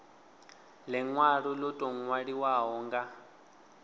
linwalo lo tou nwaliwaho nga